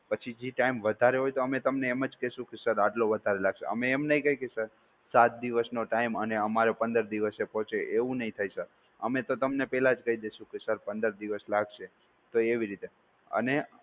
પછી જે ટાઈમ વધારે હોય તો અમે તમને એમ જ કહેશું કે સર આટલો વધારે લાગશે. અમે એમ નહિ કહીએ કે સર સાત દિવસનો ટાઈમ અને અમારે પંદર દિવસે પહોંચે એવું નહીં થાય સર અમે તો તમને પહેલા જ કહી દેશો કે સર પંદર દિવસ લાગશે તો એવી રીતે અને